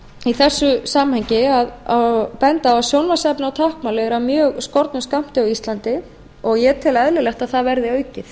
í þessu samhengi að sjónvarpsefni á táknmáli er af mjög skornum skammti á íslandi og ég tel eðlilegt að það verði aukið